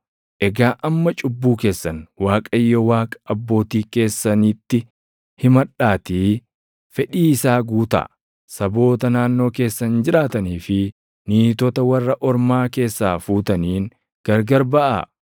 Egaa amma cubbuu keessan Waaqayyo Waaqa abbootii keessanitti himadhaatii fedhii isaa guutaa. Saboota naannoo keessan jiraatanii fi niitota warra ormaa keessaa fuutaniin gargar baʼaa.”